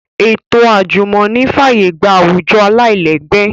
Ètò àjùmọ̀ní fàyè gba àwùjọ aláìlẹ́gbẹ́